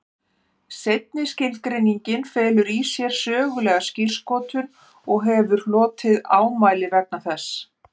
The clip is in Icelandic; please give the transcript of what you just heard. Seinni skilgreiningin felur í sér sögulega skírskotun og hefur hlotið ámæli vegna þess.